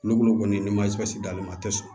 N'olu kɔni ni ma d'ale ma a tɛ sɔn